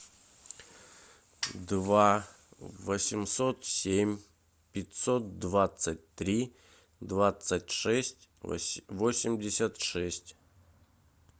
два восемьсот семь пятьсот двадцать три двадцать шесть восемьдесят шесть